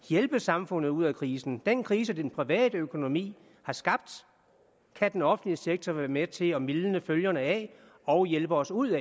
hjælpe samfundet ud af krisen den krise den private økonomi har skabt kan den offentlige sektor være med til at mildne følgerne af og hjælpe os ud